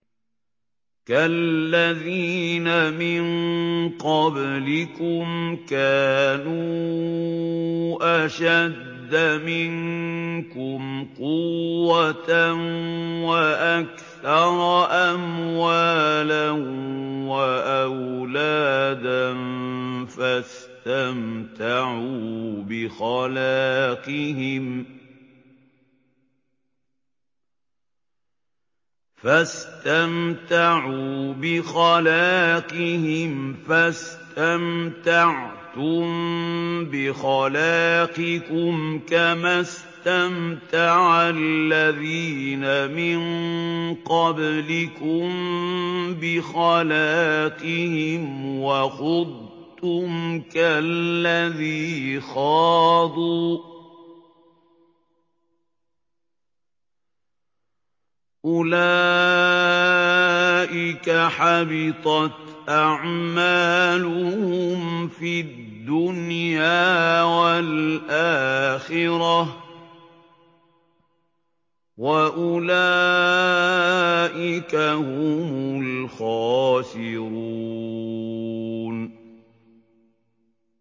كَالَّذِينَ مِن قَبْلِكُمْ كَانُوا أَشَدَّ مِنكُمْ قُوَّةً وَأَكْثَرَ أَمْوَالًا وَأَوْلَادًا فَاسْتَمْتَعُوا بِخَلَاقِهِمْ فَاسْتَمْتَعْتُم بِخَلَاقِكُمْ كَمَا اسْتَمْتَعَ الَّذِينَ مِن قَبْلِكُم بِخَلَاقِهِمْ وَخُضْتُمْ كَالَّذِي خَاضُوا ۚ أُولَٰئِكَ حَبِطَتْ أَعْمَالُهُمْ فِي الدُّنْيَا وَالْآخِرَةِ ۖ وَأُولَٰئِكَ هُمُ الْخَاسِرُونَ